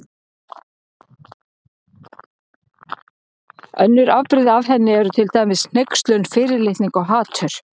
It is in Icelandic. Önnur afbrigði af henni eru til dæmis hneykslun, fyrirlitning og hatur.